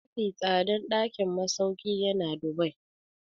Mafi tsadan ɗakin masauki yana Dubai.